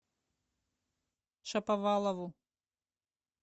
шаповалову